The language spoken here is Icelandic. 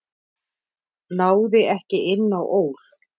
Náði ekki inn á ÓL